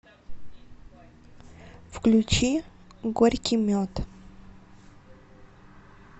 включи горький мед